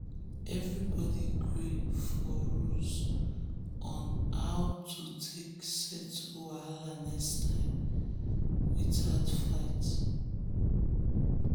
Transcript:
everybody gree for rules on how to settle wahala next time without fight.